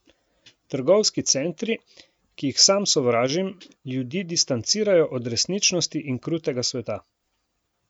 Trgovski centri, ki jih sam sovražim, ljudi distancirajo od resničnosti in krutega sveta.